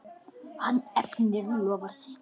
Hann efnir loforð sitt.